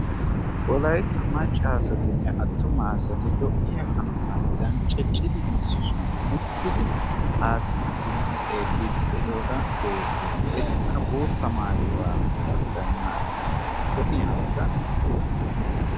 wolaytta macca asatinne attuma asati lo'iya hanotan danccidi issi shuwan uttidi haasiyiidinne xeellidi de'iyoogaa beettees etikka bootta maayuwaa baggay maayi lo'iya hanotan beettii de'es